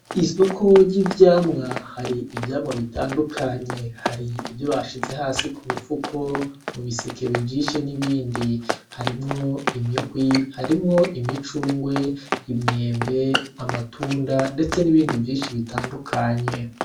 Isoko ry'ivyamwa hari ivyamwa bitandukanye hari ivyo bashize hasi ku mifuko ,mu biseke bijishe n'ibindi harimwo imihwi, harimwo imicungwe , imyembe, amatunda ndetse nibindi vyinshi bitandukanye .